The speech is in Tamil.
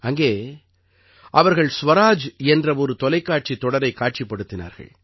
அங்கே அவர்கள் ஸ்வராஜ் என்ற ஒரு தொலைக்காட்சித் தொடரைக் காட்சிப்படுத்தினார்கள்